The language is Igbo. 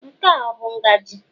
Nke a ọ bụ ngaji?